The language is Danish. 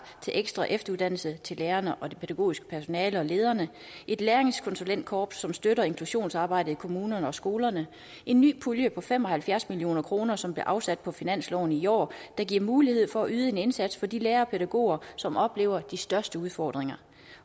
til ekstra efteruddannelse til lærerne og det pædagogiske personale og lederne et læringskonsulentkorps som støtter inklusionsarbejdet i kommunerne og skolerne en ny pulje på fem og halvfjerds million kr som blev afsat på finansloven i år der giver mulighed for at yde en indsats for de lærere og pædagoger som oplever de største udfordringer